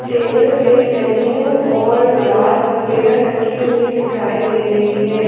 Table पे menu और glass वगैरा रखी हुई दिखाई दे रही है।